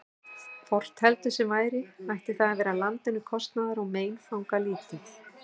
Hvort heldur sem væri, ætti það að vera landinu kostnaðar- og meinfangalítið.